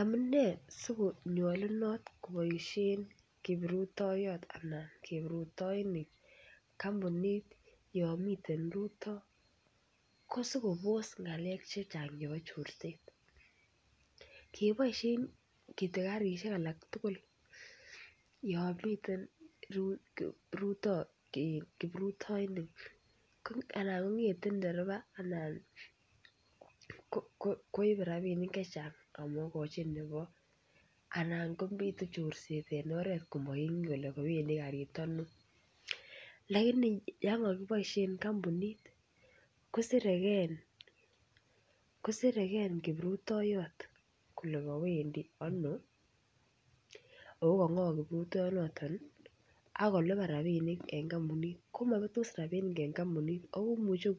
Amune sikopoishe kiprutoiyot kampunit anan kampunishek yomiten rutoito ko sikoboos ng'alek chechang chebo chorset. Ngeboisien kityo karishek alak tugul yo miten kiprutoinik anan kong'ete ndereba anan koib rabiinik chechang amakochi nebo karit anan komite chorset eng oret komangen kole kowendi karit ano lakini yankokiboisie kampunit kosirekei kiprutoiyot kole kowendi ano ako kang'o kiprutoiyondonoto akolipan rapiishek eng kampunit komabetos rabiinik eng kampunit amu imuchi